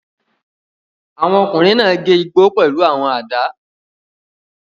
Àwọn ọkùnrin náà gé igbó pẹ̀lú àwọn àdá.